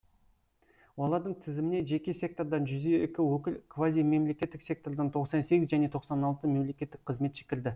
олардың тізіміне жеке сектордан жүз екі өкіл квазимемлекеттік сектордан тоқсан сегіз және тоқсан алты мемлекеттік қызметші кірді